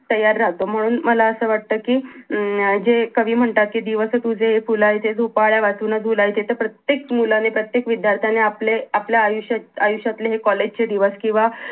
तयार राहतो म्हणून मला असं वाटत कि हम्म कवी म्हणतात दिवस तुझे हे झोपल्या वाचून झुलायचे प्रत्येक मुलाने प्रत्येक विद्यार्थ्याने आपले आपलं आयुष्यातले हे कॉलेज चे दिवस किंवा